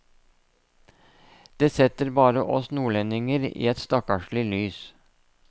Det setter bare oss nordlendinger i et stakkarslig lys.